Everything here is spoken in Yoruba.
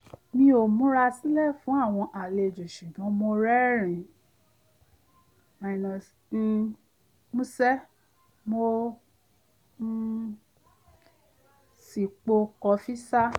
mi ò múrà sílẹ̀ fún àwọn àlejò sùgbọ́n mo rẹ́rìn-ín músẹ́ mo um sì po kọfí ṣá